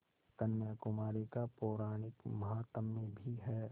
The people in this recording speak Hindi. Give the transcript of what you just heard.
कन्याकुमारी का पौराणिक माहात्म्य भी है